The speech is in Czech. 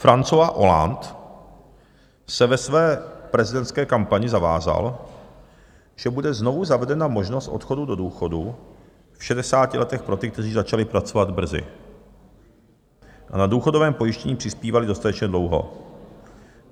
François Hollande se ve své prezidentské kampani zavázal, že bude znovu zavedena možnost odchodu do důchodu v 60 letech pro ty, kteří začali pracovat brzy a na důchodové pojištění přispívali dostatečně dlouho.